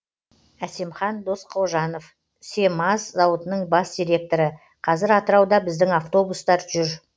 әсемхан досқожанов семаз зауытының бас директоры қазір атырауда біздің автобустар жүр